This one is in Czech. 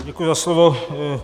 Děkuji za slovo.